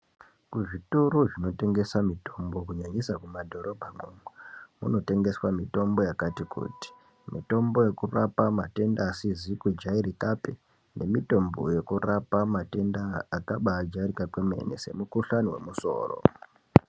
Kuzvitoro zvinotengesa mutombo kunyanyisa mumadhorobha mwomwo kunotengeswe mutombo yakati kuti mutombo yekurapa matenda asizi kujairika pe nemutombo yekurapa matenda akabaajairika kwemene semukhuhlani wemusoro.